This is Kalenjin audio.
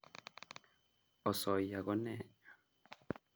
Osoya konee